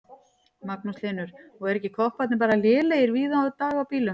Magnús Hlynur: Og eru ekki kopparnir bara lélegir víða í dag á bílum?